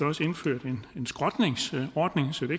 også indført en skrotningsordning så det